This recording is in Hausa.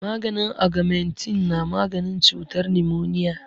Maganin agamentin na maganin cutar nimoniya